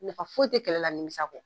Nafa foyi ti kɛlɛ la nimisa kɔ